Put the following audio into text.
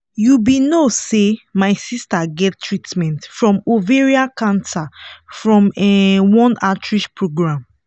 you be no say my sister get treatment from ovarian cancer from um one outreach program